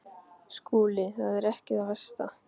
SKÚLI: Það var ekki það versta.